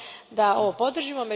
da ovo podržimo.